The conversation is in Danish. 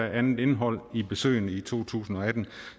et andet indhold i besøgene i to tusind og atten